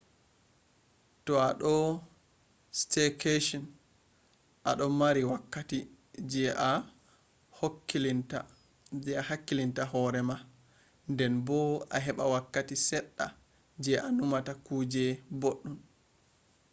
to a do staycation a do mari wakkati je a hakkilitta hore mah den bo a heba wakkati sedda je a numa ta kuje boddon